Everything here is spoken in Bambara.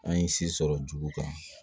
An ye si sɔrɔ jugu kan